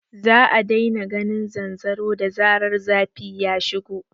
Za a daina ganin zanzaro da zarar zafi ya shigo